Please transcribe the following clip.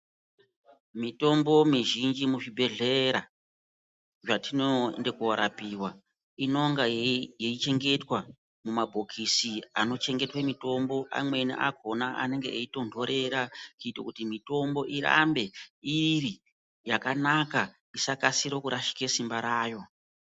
Mitombo mizhinji muzvibhedhlera zvatinoende kuorapiwa. Inonga yeichengetwa mumabhokisi anochengetwe mitombo. Amweni akona anenge eitondorera kuito kuti mitombo irambe iri yakanaka Isakasike kurasike simba rayo.